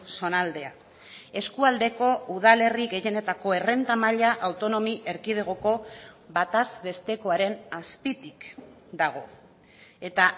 zonaldea eskualdeko udalerri gehienetako errenta maila autonomi erkidegoko bataz bestekoaren azpitik dago eta